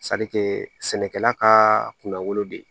sɛnɛkɛla ka kunna wolo de